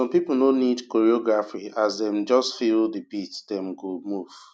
some people no need choreography as dem just feel the beat dem go move